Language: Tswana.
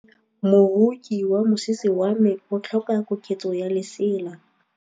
Moroki wa mosese wa me o tlhoka koketsô ya lesela.